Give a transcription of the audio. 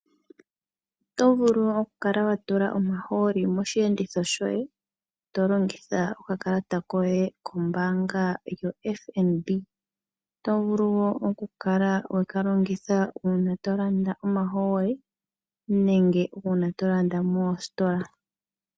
Otovulu okukala watula omahooli mosheenditho shoye tolongitha okakalata koye kombanga yoFNB, tokala longitha uuna wahala okulanda omahooli nenge uuna wuna shi wahala okulanda moositola.